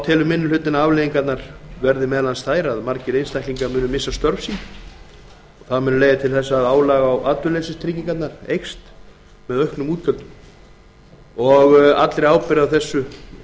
telur minni hlutinn að afleiðingarnar verði þær að margir einstaklingar muni missa störf sín það muni leiða til þess að álag á atvinnuleysistryggingarnar muni aukast með auknum útgjöldum minni hlutinn vísar allri ábyrgð